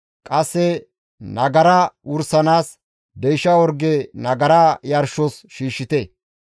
Qasseka nagara wursanaas deysha orge nagara yarshos shiishshite.